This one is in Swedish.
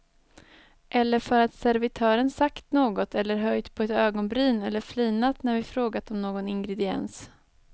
Eller för att servitören sagt något eller höjt på ett ögonbryn eller flinat när vi frågat om någon ingrediens.